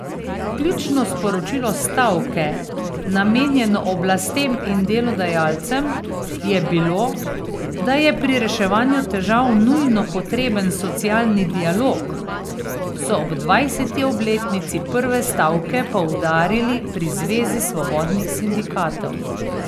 Ključno sporočilo stavke, namenjeno oblastem in delodajalcem, je bilo, da je pri reševanju težav nujno potreben socialni dialog, so ob dvajseti obletnici prve stavke poudarili pri Zvezi svobodnih sindikatov.